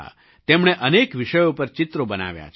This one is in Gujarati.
તેમણે અનેક વિષયો પર ચિત્રો બનાવ્યાં છે